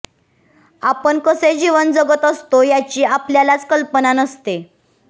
आपण कसे जीवन जगत असतो याची आपल्यालाच कल्पना नसते